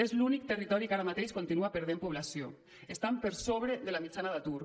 és l’únic territori que ara mateix continua perdent població i estan per sobre de la mitjana d’atur